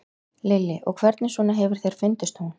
Lillý: Og hvernig svona hefur þér fundist hún?